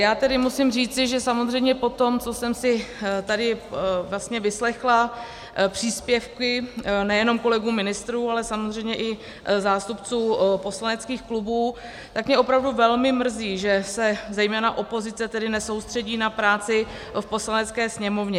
Já tedy musím říci, že samozřejmě po tom, co jsem si tady vlastně vyslechla příspěvky nejenom kolegů ministrů, ale samozřejmě i zástupců poslaneckých klubů, tak mě opravdu velmi mrzí, že se zejména opozice tedy nesoustředí na práci v Poslanecké sněmovně.